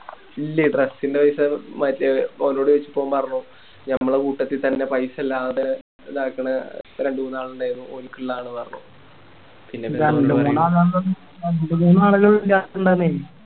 ഇല്ലേ Dress ൻറെ പൈസ മറ്റേ ഒലോട് ചോയിച്ചിറ്റ് ഓൻ പറഞ്ഞു ഞമ്മളെ കൂട്ടത്തി തന്നെ പൈസ ഇല്ലാതെ ഇതക്കുന്നെ രണ്ടുമൂന്നാളിണ്ടയിരുന്നു ഓലിക്കിള്ളതാന്ന് പറഞ്ഞു രണ്ട് മൂന്നാളുകൾ